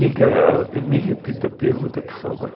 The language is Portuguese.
Diga, me repita a pergunta, por favor.